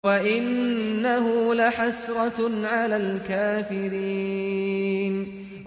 وَإِنَّهُ لَحَسْرَةٌ عَلَى الْكَافِرِينَ